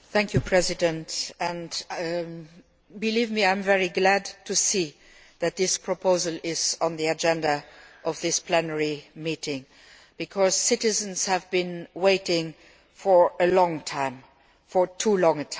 Mr President, believe me, I am very glad to see that this proposal is on the agenda of this plenary sitting because citizens have been waiting for a long time, for too long.